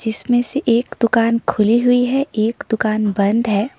इसमें से एक दुकान खुली हुई है एक दुकान बंद है।